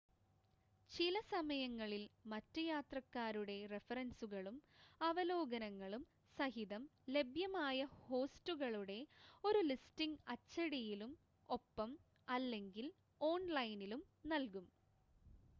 ചിലസമയങ്ങളിൽ മറ്റ് യാത്രക്കാരുടെ റഫറൻസുകളും അവലോകനങ്ങളും സഹിതം ലഭ്യമായ ഹോസ്റ്റുകളുടെ ഒരു ലിസ്റ്റിംഗ് അച്ചടിയിലും ഒപ്പം/അല്ലെങ്കിൽ ഓൺ‌ലൈനിലും നൽകും